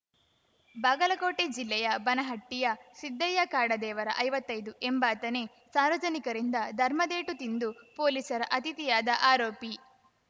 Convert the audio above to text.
ಬಾಗಲಕೋಟೆ ಜಿಲ್ಲೆಯ ಬನಹಟ್ಟಿಯ ಸಿದ್ದಯ್ಯ ಕಾಡದೇವರ ಐವತ್ತೈದು ಎಂಬಾತನೆ ಸಾರ್ವಜನಿಕರಿಂದ ಧರ್ಮದೇಟು ತಿಂದು ಪೊಲೀಸರ ಅತಿಥಿಯಾದ ಆರೋಪಿ